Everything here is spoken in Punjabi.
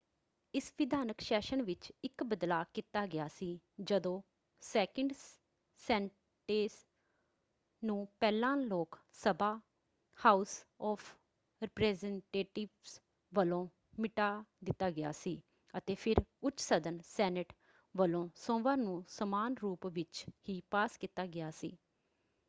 ਇਸ ਵਿਧਾਨਕ ਸੈਸ਼ਨ ਵਿੱਚ ਇੱਕ ਬਦਲਾਅ ਕੀਤਾ ਗਿਆ ਸੀ ਜਦੋਂ ਸੈਕਿੰਡ ਸੈਨਟੈਂਸ ਨੂੰ ਪਹਿਲਾਂ ਲੋਕ ਸਭਾ ਹਾਊਸ ਆਫ ਰਿਪ੍ਰੈਜੈਨਟੇਟਿਵਸ ਵੱਲੋਂ ਮਿਟਾ ਦਿੱਤਾ ਗਿਆ ਸੀ ਅਤੇ ਫਿਰ ਉੱਚ ਸਦਨ ਸੈਨੇਟ ਵੱਲੋਂ ਸੋਮਵਾਰ ਨੂੰ ਸਮਾਨ ਰੂਪ ਵਿੱਚ ਹੀ ਪਾਸ ਕੀਤਾ ਗਿਆ ਸੀ।